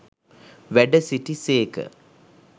වැඩ සිටි සේක.